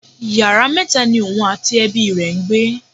Yàrá mẹta ni òun àti ẹbi rẹ ń gbé.